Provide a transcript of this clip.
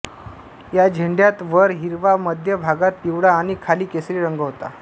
या झेंड्यात वर हिरवा मध्य भागात पिवळा आणि खाली केसरी रंग होता